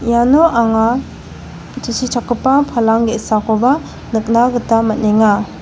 iano anga tusichakgipa palang ge·sakoba nikna gita man·enga.